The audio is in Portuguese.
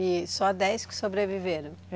E só dez que sobreviveram?